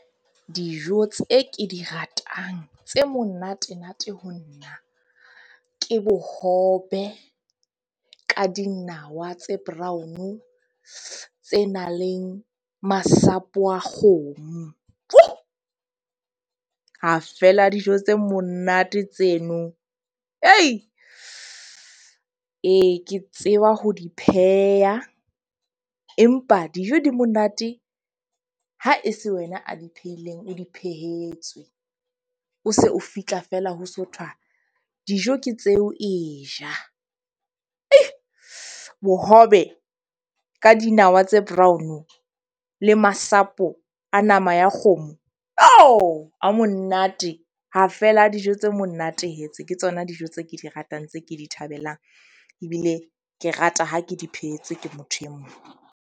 Dijo tse ke di ratang tse monatenate ho nna ke bohobe ka dinawa tse brown-o tse nang le masapo a kgomo. Ha fela dijo tse monate tseno. Ke tseba ho di pheha empa dijo di monate, ha e se wena a di phehileng, o di phehetswe, o se o fitlha feela ho so thwa dijo ke tseo e ja bohobe ka dinawa tse brown le masapo a nama ya kgomo ha monate. Ha fela dijo tse monate tse ke tsona dijo tse ke di ratang, tse ke di thabelang. Ebile ke rata ha ke di phehetswe ke motho e mong.